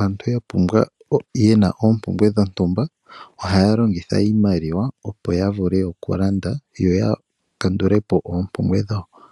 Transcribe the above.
aantu ye na oompumbwe dhontumba, ohaya longitha iimaliwa opo ya vule okulanda yo ya kandule po oompumbwe dhawo.